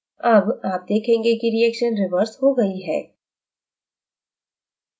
अब आप देखेंगे कि reaction reversed हो गई है